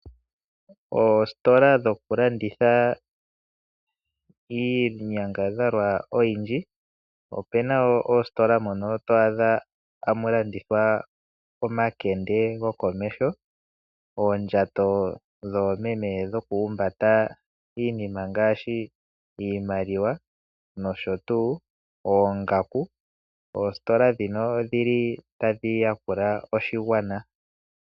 Oositola dhoku landitha iinyangadhalwa oyindji. Opu na wo oositola mono to adha tamu landithwa omakende gokomeho, oondjato dhoomeme dhokuhumbata iinima ngaashi: iimaliwa nosho wo oongaku. Oositola ndhino otadhi yakula oshigwana.